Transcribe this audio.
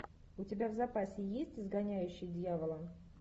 у тебя в запасе есть изгоняющий дьявола